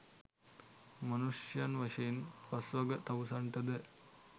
මනුෂ්‍යයන් වශයෙන් පස්වග තවුසන්ටද